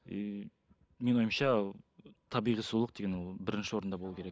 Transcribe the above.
и менің ойымша табиғи сұлулық деген ол бірінші орында болу керек